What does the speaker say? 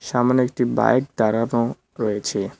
সামনে একটি বাইক দাঁড়ানো রয়েছে।